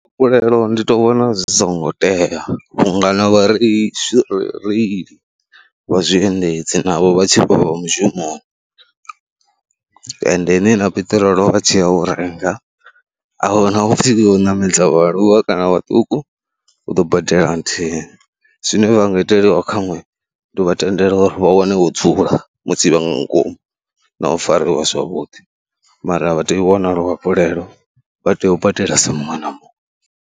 Luafhulelo ndi tou vhona zwi songo tea vhunga na vhareili vha zwiendedzi navho vha tshi vha vha mushumoni endeni na peṱirolo vha tshi ya u renga a hu na hupfhi u ṋamedza vhaaluwa kana vhaṱuku, u ḓo badela nthihi. Zwine vha nga iteliwa khaṅwe ndi u vha tendela uri vha wane wo dzula musi vha nga ngomu na u fariwa zwavhuḓi mara vha tei u wana luafhulelo, vha tea u badela sa muṅwe na muṅwe.